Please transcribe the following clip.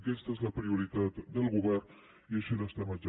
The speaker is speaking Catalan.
aquesta és la prioritat del govern i així l’estem exercint